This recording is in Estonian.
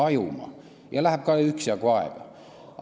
Ja ka siis läheb üksjagu aega.